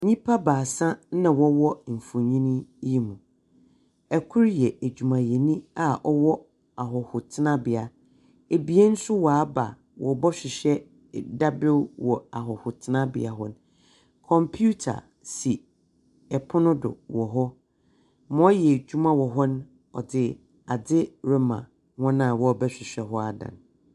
Nnipa baasa na wɔ wɔ mfonyin yi mu. Ɛkro yɛ adwumayɛni a ɔwɔ ahɔhotenabea. Ebien so waaba wɔɔbɛhwehɛ dabrɛw wɔ ahɔhotenabea hɔ. Kompiuta si ɛpono do wɔ hɔ. Ma wɔyɛ adwuma wɔ hɔ no wɔdze adze rema wɔn a wɔɔbɛhwehwɛ hɔ ada no.